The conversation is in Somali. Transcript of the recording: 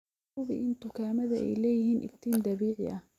Hubi in dukaamada ay leeyihiin iftiin dabiici ah.